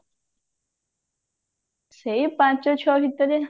ସେଇ ପାଞ୍ଚ ଛଅ ଭିତରେ